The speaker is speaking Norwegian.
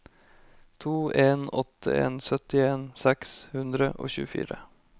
to en åtte en syttien seks hundre og tjuefire